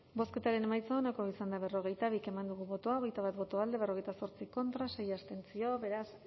bozketaren emaitza onako izan da hirurogeita hamabost eman dugu bozka hogeita bat boto alde berrogeita zortzi contra sei abstentzio beraz